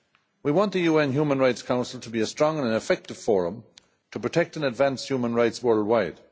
We want the UN Human Rights Council to be a strong and effective forum to protect and advance human rights worldwide.